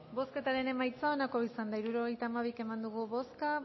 bozketaren emaitza onako izan da hirurogeita hamabi eman dugu bozka